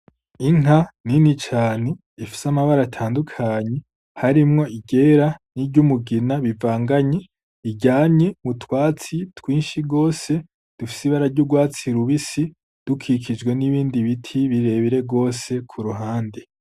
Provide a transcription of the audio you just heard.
Inka nini cane, ifise amabara atandukanye harimwo iryera n'iryumugina bivanganye, iryamye m'utwatsi twinshi gose dufise ibara ry'urwatsi rubisi dukikijwe n'ibindi biti birebire gose ku ruhande.